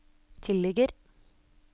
tilligger